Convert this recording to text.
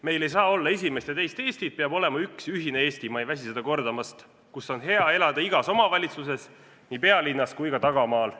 Meil ei saa olla esimest ja teist Eestit, peab olema üks ja ühine Eesti – ma ei väsi seda kordamast –, kus on hea elada igas omavalitsuses, nii pealinnas kui ka tagamaal.